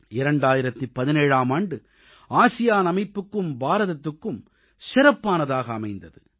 2017ஆம் ஆண்டு ஆசியான் அமைப்புக்கும் பாரதத்துக்கும் சிறப்பானதாக அமைந்தது